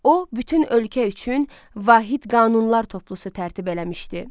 O, bütün ölkə üçün vahid qanunlar toplusu tərtib eləmişdi.